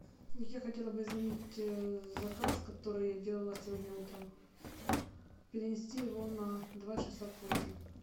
я хотела бы изменить заказ который я делала сегодня утром перенести его на два часа позже